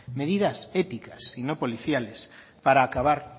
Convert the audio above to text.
medidas éticas y no policiales para acabar